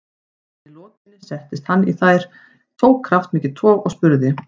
Að henni lokinni setti hann þær í, tók kraftmikið tog og spurði